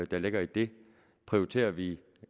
der ligger i dem prioriterer vi